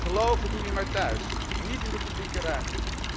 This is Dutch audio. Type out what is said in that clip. Geloven doe je maar thuis, niet in de publieke ruimte.